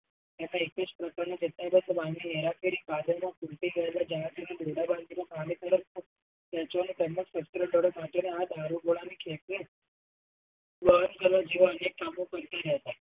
નથી સમજાતું